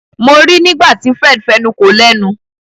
Mo rí nígbàtí Fred fẹnuko lénu.